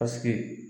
Paseke